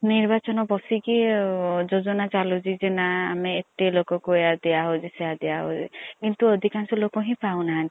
ନିର୍ବଚନ ପସିକି ଯୋଜନା ଚାଲୁଛି ନା ଆମେ ଏତେ ଲୋକ କୁ ଏଆ ଦିଆ ହଉଛି ସେଆ ଦିଆ ହଉଛି କିନ୍ତୁ ଅଦିକାଂଶ ଲୋକ ହିଏଂ ପାଉନାହାନ୍ତି।